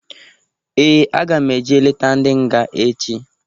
Ee! Aga m eje leta ndị nga echi.